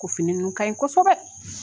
Ko fini ninnu kaɲi kosɛbɛ